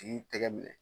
K'i tɛgɛ minɛ